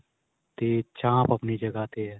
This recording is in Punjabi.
ਤੇ ਚਾਂਪ ਆਪਣੀ ਜਗ੍ਹਾ ਤੇ ਏ.